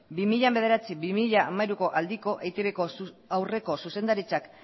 bi mila bederatzi bi mila hamairu aldiko eitbko aurreko zuzendaritzak